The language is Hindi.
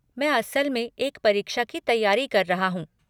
मैं असल में एक परीक्षा की तैयारी कर रहा हूँ।